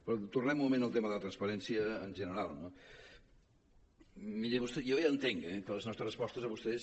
però tornem un moment al tema de la transparència en general no miri vostè jo ja entenc eh que les nostres respostes a vostès